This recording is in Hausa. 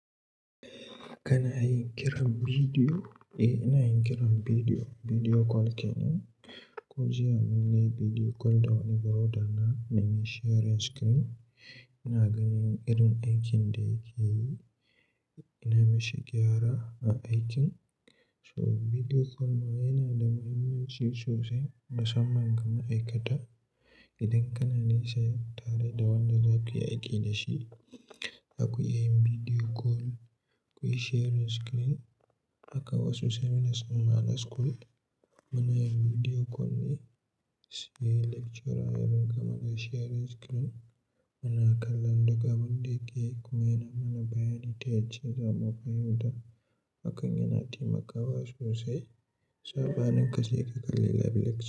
Kana yin kiran bidiyo? Eh, ina yin kiran bidiyo, bidiyo kol kenan. Ko jiya mun yi bidiyo kol da wani broda na, mun yi sharing screen. Ina ganin irin aikin da yake yi, nayi mashi gyara a aikin. So bidiyo kol ma yana da muhimmanci sosai, musamman ga ma'aikata. Idan kana nisha yiwu tare da wanda za ku yi aiki da shi, Zaku iya yin bidiyo kol, kuyi sharing screen. Haka wasu sai mun samu a school, muna yin bidiyo kol ne si lecturer, har gama da sharing screen muna kallon duka abun da yake yi. Kuma yana mana bayyanin ta yanzu, zamu fahimta. Hakan yana taimakawa sosai. Saba nan ka sai ka kalli live lecture.